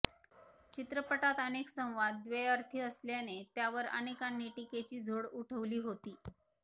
चित्रपटात अनेक संवाद द्वयर्थी असल्याने त्यावर अनेकांनी टीकेची झोड उठवली होती